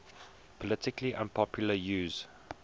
politically unpopular use